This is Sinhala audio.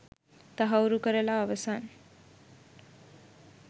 තහවුරු කරලා අවසන්.